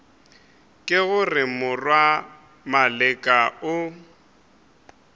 ke gore morwa maleka o